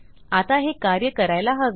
आता हे कार्य करायला हवे